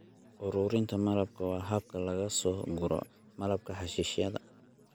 Uruurinta malabka waa habka laga soo guro malabka xashiishyada.